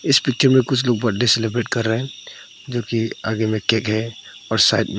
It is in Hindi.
इस पिक्चर में कुछ लोग बर्थडे सेलिब्रेट कर रहे हैं जोकि आगे में केक है और साइड में--